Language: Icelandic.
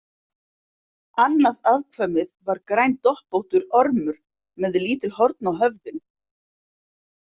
Annað afkvæmið var grændoppóttur ormur með lítil horn á höfðinu.